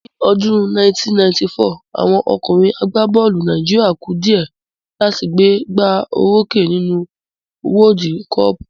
Ní ọdún 1994, àwọn ọkùnrin àgbá bọ́ọ̀lù Nàìjíríà ku dìẹ́ láti gbé gbá o rókè nínú wọ́ọ́dú kọọ̀pù